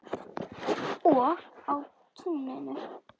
Og á túninu.